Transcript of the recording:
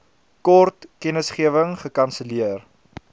kort kennisgewing gekanselleer